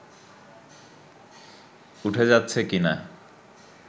উঠে যাচ্ছে কিনা